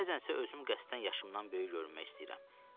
Bəzən isə özüm qəsdən yaşımdan böyük görünmək istəyirəm.